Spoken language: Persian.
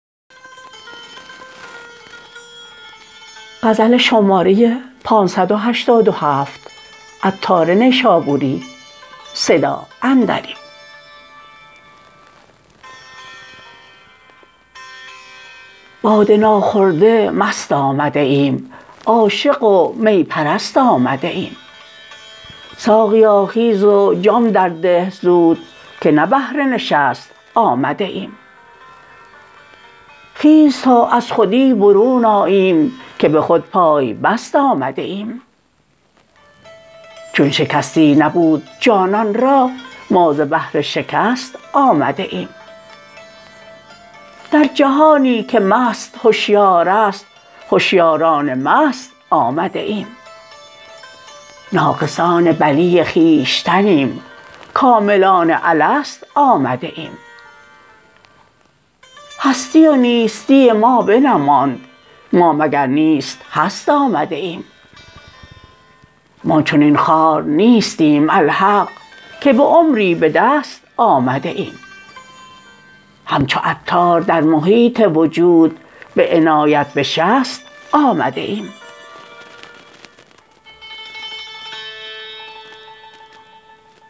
باده ناخورده مست آمده ایم عاشق و می پرست آمده ایم ساقیا خیز و جام در ده زود که نه بهر نشست آمده ایم خیز تا از خودی برون آییم که به خود پای بست آمده ایم چون شکستی نبود جانان را ما ز بهر شکست آمده ایم در جهانی که مست هشیار است هوشیاران مست آمده ایم ناقصان بلی خویشتنیم کاملان الست آمده ایم هستی و نیستی ما بنماند ما مگر نیست هست آمده ایم ما چنین خوار نیستیم الحق که به عمری به دست آمده ایم همچو عطار در محیط وجود به عنایت به شست آمده ایم